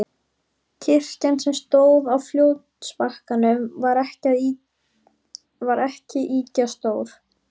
Kirkjan, sem stóð á fljótsbakkanum, var ekki ýkja stór.